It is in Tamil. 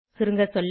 சுருங்க சொல்ல